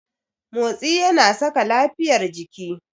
Motsi yana saka lafiyar jiki.